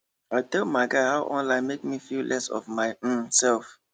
i tell my guy how online make me feel less of my um self